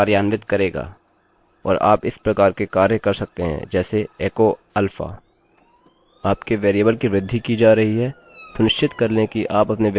आपके वेरिएबल की वृद्धि की जा रही है सुनिश्चित कर लें कि आप अपने वेरिएबल कि वृद्धि करें अन्यथा लूप अनंत के लिए हो जाएगा